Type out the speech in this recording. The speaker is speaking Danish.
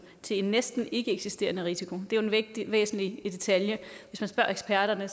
til en næsten ikkeeksisterende risiko det er jo en væsentlig detalje hvis man spørger eksperterne